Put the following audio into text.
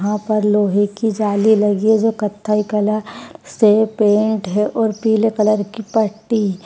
यहाँ पर लोहे की जाली लगी है जो कत्थई कलार से पेंट है और पिले कलर की पट्टी --